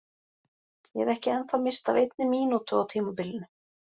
Ég hef ekki ennþá misst af einni mínútu á tímabilinu!